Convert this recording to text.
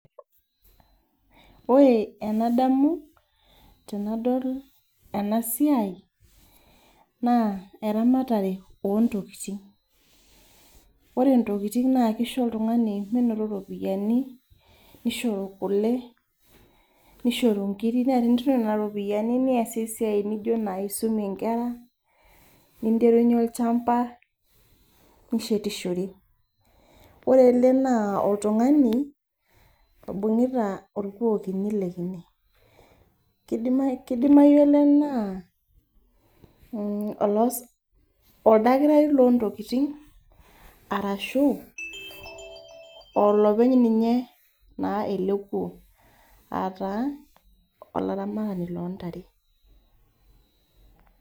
Ore enadamu tenadol enasiai, naa eramatare ontokiting. Ore ntokiting nakisho oltung'ani minoto ropiyiani, nisho kule, nishoru nkirik na tenitum nena ropiyiani niasie esiai nijo nai aisumie nkera, ninterunye olchamba, nishetishore. Ore ele naa oltung'ani, oibung'ita orkuo kini lekine. Kidimayu ele naa oldakitari lontokiting, arashu olopeny ninye naa ele kuo. Ataa, olaramatani lontare.